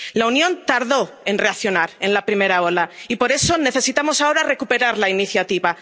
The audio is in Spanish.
La Unión tardó en reaccionar en la primera ola y, por eso, necesitamos ahora recuperar la iniciativa.